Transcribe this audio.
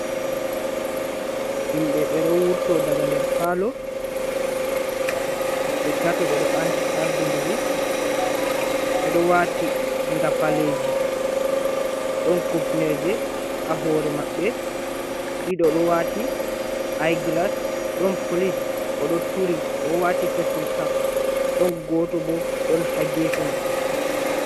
Himɓe ɓe ɗo wurto daga nder paalo ɓe tato, ɓe ɗo ardidiri, ɓe ɗo waati ngafaleji ɗon kupneje ha hoore maɓɓe, ɗiɗo ɗo waati aigilas, ɗon polis oɗo turi o waati fesing kap, ɗon gooto bo ɗon ha gefe maɓɓe.